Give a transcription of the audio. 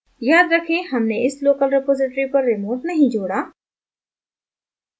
याद रखें हमने इस local रिपॉज़िटरी पर remote नहीं जोड़ा